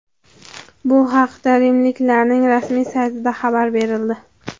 Bu haqda rimliklarning rasmiy saytida xabar berildi .